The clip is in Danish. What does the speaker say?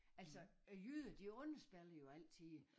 Altså æ jyder de underspiller jo altid